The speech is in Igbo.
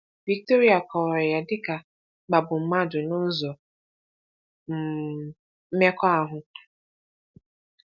Victoria kọwara ya dị ka “ịkpagbu mmadụ n’ụzọ um mmekọahụ.”